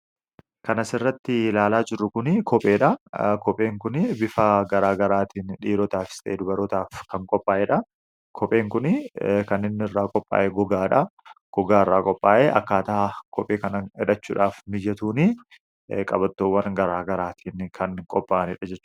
kana sirratti ilaalaa jirru kun kopheedha kopheen kuni bifaa garaa garaatiin dhiirotaafis ta'ee dubarotaaf kan qophaa'eedha kopheen kun kaninni irraa qophaa'ee gogaadha gogaa irraa qophaa'ee akkaataa kophee kan hidachuudhaaf mijatuun qabatoowwan garaa garaatiin kan qophaa'aniidha jechudha